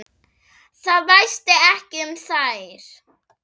Það væsti ekki um þær.